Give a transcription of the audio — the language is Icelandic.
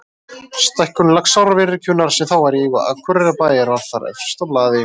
Stækkun Laxárvirkjunar, sem þá var í eigu Akureyrarbæjar, var þar efst á blaði.